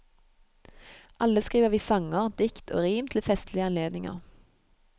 Alle skriver vi sanger, dikt og rim til festlige anledninger.